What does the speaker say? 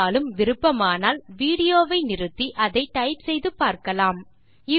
இருந்தாலும் விருப்பமானால் விடியோவை நிறுத்தி அதை டைப் செய்து பார்க்கலாம்